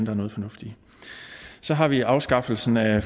er noget fornuft i så har vi afskaffelsen af